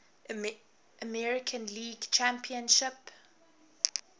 american league championship